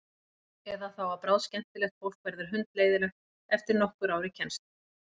Eða þá að bráðskemmtilegt fólk verður hundleiðinlegt eftir nokkur ár í kennslu.